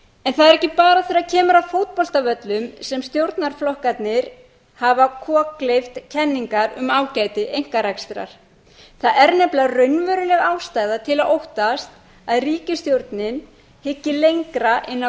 en það er ekki bara þegar kemur að fótboltavöllum sem stjórnarflokkarnir hafa kokgleypt kenningar um ágæti einkarekstrar það er nefnilega raunveruleg ástæða til að óttast að ríkisstjórnin hyggi lengra inn á